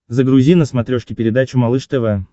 загрузи на смотрешке передачу малыш тв